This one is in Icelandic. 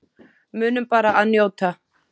Munum bara að njóta.